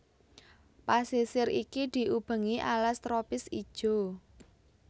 Pasisir iki diubengi alas tropis ijo